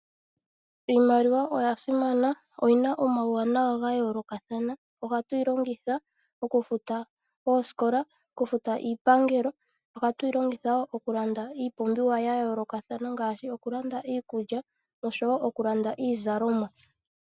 Iimaliwa oya simana. Oyina omauwanawa ga yoolokathana. Ohatu yi longitha okufuta oosikola nokufuta iipangelo. Ohatu yi longitha wo okulanda iipumbiwa ya yoolokathana ngaashi okulanda iikulya noshowo okulanda iizalomwa.